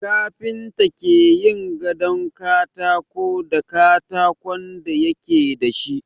Kafinta ke yin gadon katako da katakon da yake da shi.